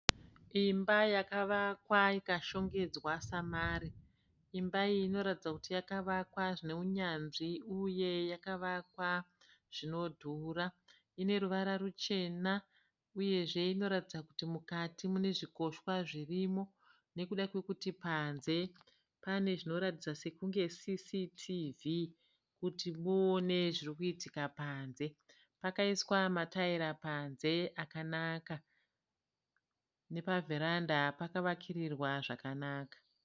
Imba yakavakwa ikashongedzwa samare. Imba iyi inoratidza kuti yakavakwa zvineunyanzvi uye yakavakwa zvinodhura. Ine ruvara ruchena. Uyezve inoratidza kuti mukati mune zvikoshwa zvirimo nekuda kwekuti panze pane zvinoratidza sekunge sisitivi kuti muone zvirikuitika panze. Pakaiswa mataira panze akanaka. Nepavhuranda pakavakirirwa zvakanaka.